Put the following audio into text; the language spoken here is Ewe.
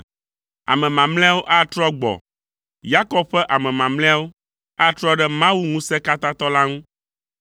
Ame mamlɛawo atrɔ gbɔ, Yakob ƒe ame mamlɛawo atrɔ ɖe Mawu Ŋusẽkatãtɔ la ŋu.